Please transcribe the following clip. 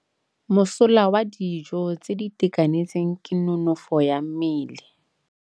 Mosola wa dijô tse di itekanetseng ke nonôfô ya mmele.